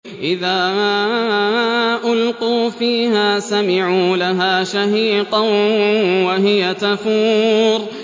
إِذَا أُلْقُوا فِيهَا سَمِعُوا لَهَا شَهِيقًا وَهِيَ تَفُورُ